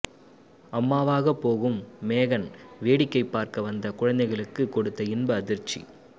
அம்மாவாக போகும் மேகன் வேடிக்கை பார்க்க வந்த குழந்தைகளுக்கு கொடுத்த இன்ப அதிர்ச்சி